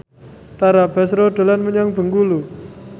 Tara Basro dolan menyang Bengkulu